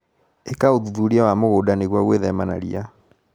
ĩka ũthuthuria wa mũgũnda nĩguo gwĩthema na ria.